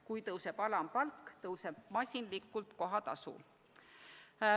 Kui tõuseb alampalk, tõuseb masinlikult ka kohatasu.